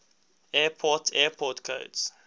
airport airport codes